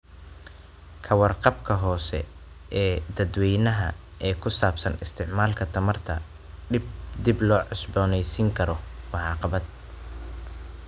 Ka warqabka hoose ee dadweynaha ee ku saabsan isticmaalka tamarta dib loo cusboonaysiin karo waa caqabad.